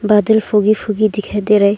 बदल foggy foggy दिखाई दे रहा है।